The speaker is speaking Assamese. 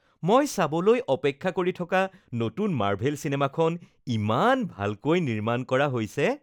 মই চাবলৈ অপেক্ষা কৰি থকা নতুন মাৰ্ভেল চিনেমাখন ইমান ভালকৈ নিৰ্মাণ কৰা হৈছে